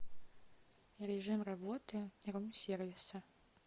режим работы рум сервиса